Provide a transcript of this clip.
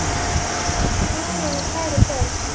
Elsku Guðrún og kæru börn.